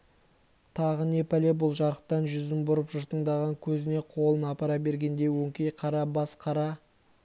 тағы не пәле бұл жарықтан жүзін бұрып жыртыңдаған көзіне қолын апара бергенде өңкей қара бас қара